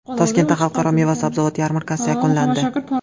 Toshkentda Xalqaro meva-sabzavot yarmarkasi yakunlandi.